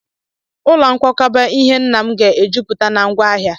Ụlọ nkwakọba ihe nna m ga-ejupụta na ngwá ahịa.